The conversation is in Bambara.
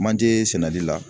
Manje sɛnɛli la